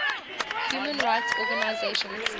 human rights organisations